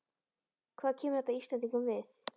Hvað kemur þetta Íslendingum við?